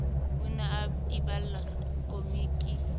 o ne a iballa khomiki